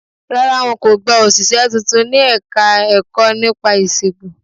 Rárá, wọn kò gba òṣìṣẹ́ tuntun ní Ẹ̀ka-ẹ̀kọ́ nípa ìṣègùn